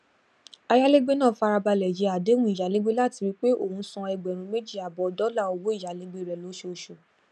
ayálégbé náà farabalẹ yẹ àdéhùn ìyálégbé láti rí pé ó ń san ẹgbẹrún méjì àbọ dollar owó ìyálégbé rẹ lóṣooṣù